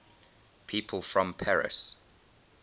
people from paris